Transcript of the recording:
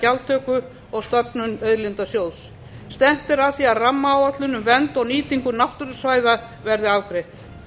gjaldtöku og stofnun auðlindasjóðs stefnt er að því að rammaáætlun um vernd og nýtingu náttúrusvæða verði afgreidd